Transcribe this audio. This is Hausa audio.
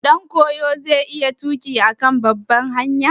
Shin ɗankoyo zai iya tuƙi a kan babbar hanya?